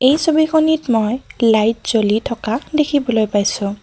এই ছবিখনিত মই লাইট জ্বলি থকা দেখিবলৈ পাইছোঁ।